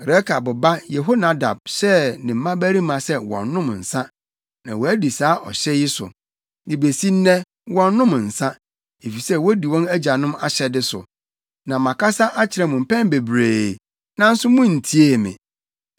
‘Rekab ba Yehonadab hyɛɛ ne mmabarima sɛ wɔnnom nsa, na wɔadi saa ɔhyɛ yi so. De besi nnɛ wɔnnom nsa, efisɛ wodi wɔn agyanom ahyɛde so. Na makasa akyerɛ mo mpɛn bebree, nanso muntiee me.